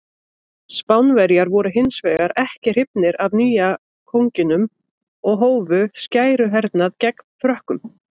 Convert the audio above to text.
Spánverjar voru hins vegar ekki hrifnir af nýja konunginum og hófu skæruhernað gegn Frökkum.